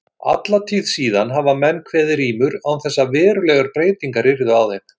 Alla tíð síðan hafa menn kveðið rímur án þess að verulegar breytingar yrðu á þeim.